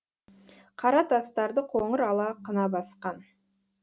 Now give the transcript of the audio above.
қара тастарды қоңыр ала қына басқан